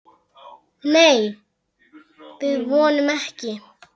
Nei, við vonum ekki.